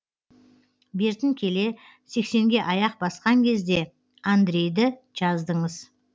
бертін келе сексенге аяқ басқан кезде андрейді жаздыңыз